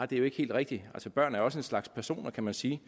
det er jo ikke helt rigtigt altså børn er jo også en slags personer kan man sige